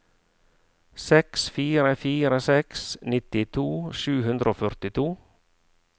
seks fire fire seks nittito sju hundre og førtito